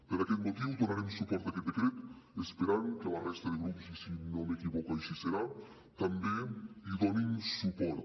per aquest motiu donarem suport a aquest decret esperant que la resta de grups i si no m’equivoco així serà també hi donin suport